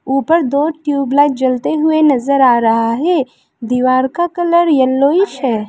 ऊपर दो ट्यूबलाइट जलते हुए नजर आ रहा है दीवार का कलर येलोइश है।